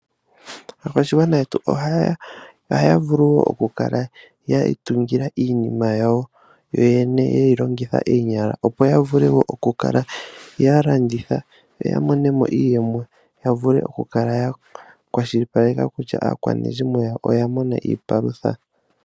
Aakwashigwana yetu ohaya vulu wo oku kala ya itungila iinima yawo yoyene ye yi longitha oonyala, opo ya vule oku kala ya landitha yo ya monemo iiyemo yavule oku kala ya kwashilipaleka kutya aakwanezimo yawo oya mona iipalutha.